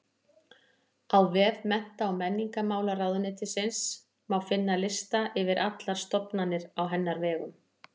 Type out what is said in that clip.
Á vef Mennta- og menningarmálaráðuneytisins má finna lista yfir allar stofnanir á hennar vegum.